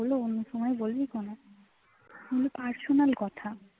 বললে অন্য সময় বলবি phone এ এগুলো personal কথা